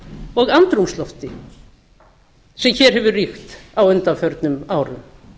og andrúmslofti sem hér hefur ríkt á undanförnum árum